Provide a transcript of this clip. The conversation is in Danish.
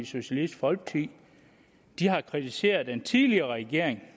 socialistisk folkeparti har kritiseret den tidligere regering